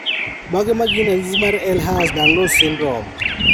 Mage magin ranyisi mag Ehlers Danlos syndrome